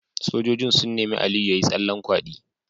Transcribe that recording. Sojojin sun nemi Aliyu yayi tsallen kwadi